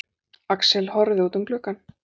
Axel horfði út um gluggann.